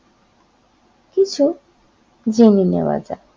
কিছু জেনে নেওয়া যাক।